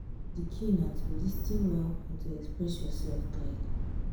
di key na to lis ten well and to express yourself clearly.